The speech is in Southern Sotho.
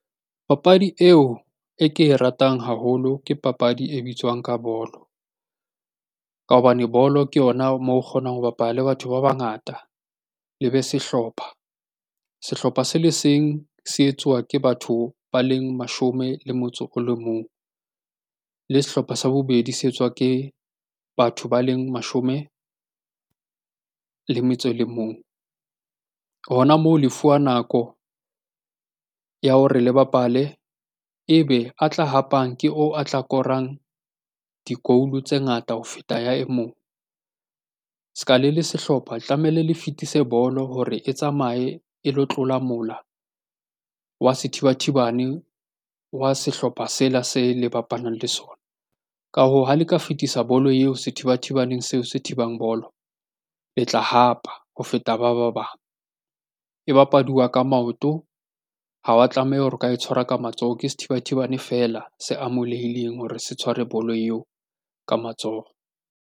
Papadi eo e ke e ratang haholo ke papadi e bitswang ka bolo. Ka hobane bolo ke yona moo kgonang ho bapala le batho ba bangata le be sehlopha. Sehlopha se le seng se etsuwa ke batho ba leng mashome le motso o le mong, le sehlopha sa bobedi se etswa ke batho ba leng mashome le metso e le mong. Hona moo le fuwa nako ya hore le bapale ebe a tla hapang ke oo a tla korang di-goal-o tse ngata ho feta ya e mong. Se ka le le sehlopha tlamehile le fetise bolo hore e tsamaye e lo tlola mola wa sethibathibane wa sehlopha sela se le bapalang le sona. Ka hoo, ha le ka fetisa bolo eo sethibathibaneng seo se thibang bolo, le tla e hapa ho feta ba ba bang. E bapaduwa ka maoto, ha wa tlameha hore o ka e tshwara ka matsoho. Ke sethibathibane feela se amolehileng hore se tshware bolo eo ka matsoho.